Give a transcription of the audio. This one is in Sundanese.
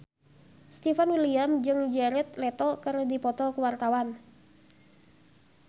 Stefan William jeung Jared Leto keur dipoto ku wartawan